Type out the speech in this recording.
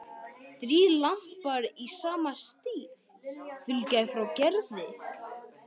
Þrír lampar í sama stíl fylgja frá Gerði.